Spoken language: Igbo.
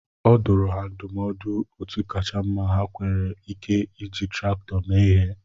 Ọ dụrụ ha ndumọdụ otú kacha mma ha nwere Ike iji traktọ mee ihe